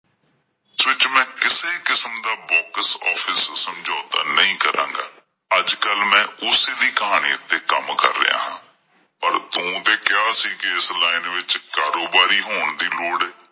ਇਸ ਵਿਚ ਮੈਂ ਕਿਸੇ ਕਿਸਮ ਦਾ ਸਮਝੌਤਾ ਨਹੀਂ ਕਰਾਂਗਾ। ਅੱਜ ਕੱਲ ਮੈਂ ਓਸੇ ਦੀ ਕਹਾਣੀ ਉੱਤੇ ਕੰਮ ਕਰ ਰਿਹਾ ਹਾਂ ਪਰ ਤੂੰ ਤੇ ਕਿਹਾ ਸੀ ਕੇ ਇਸ ਲਾਈਨ ਵਿੱਚ ਕਾਰੋਬਾਰੀ ਹੋਣ ਦੀ ਲੋੜ ਏ।